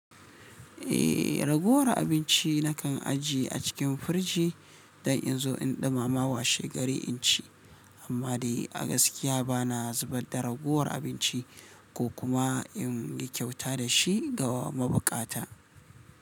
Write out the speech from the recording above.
Eh, raguwar abinci na kan ajiye a cikin firji don in zo in ɗumama washe gari in ci, amma dai a gaskiya ba na zubar da ragowar abinci ko kuma in yi kyauta da shi ga mabukata.